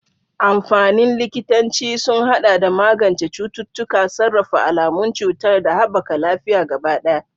Amfanin likitanci sun haɗa da magance cututtuka, sarrafa alamun cutar, da haɓaka lafiyar gaba ɗaya.